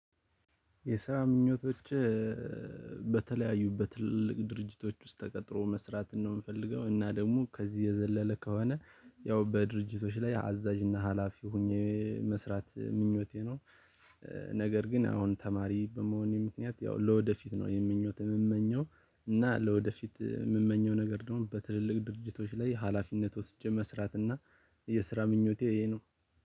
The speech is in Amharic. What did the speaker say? የስራ ምኞቶቸ በተለያዩ በትልልቅ ድርጅቶች ውስጥ ተቀጥሮ መስራትን ነው ምፈልገው እና ደግሞ ከዚህ የዘለለ ከሆነ ያው በድርጅቶች ላይ አዛዥ እና ሀላፊ ሆኜ መስራት ምኞቴ ነው። ነገር ግን አሁን ተማሪ በመሆኔ ምክንያት ያው ለወደፊት ነው ይህን ምኞት የምመኘው እና ለወደፊት የምመኘው ነገር ደግሞ በትልልቅ ድርጅቶች ላይ ሀላፊነት ወስጄ መስራት እና። የስራ ምኞቴ ይሄ ነው